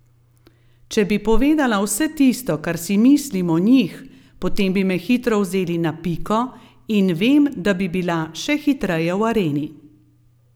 Če bi povedala vse tisto kar si mislim o njih, potem bi me hitro vzeli na piko in vem, da bi bila še hitreje v areni.